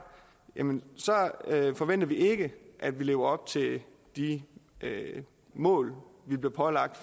forventer vi ikke at vi lever op til de mål vi bliver pålagt